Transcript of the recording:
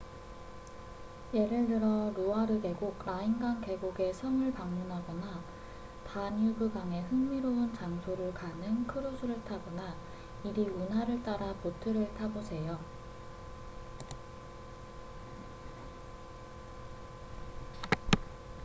예를 들어 루아르 계곡 라인강 계곡의 성을 방문하거나 다뉴브강의 흥미로운 장소로 가는 크루즈를 타거나 이리 운하를 따라 보트를 타보세요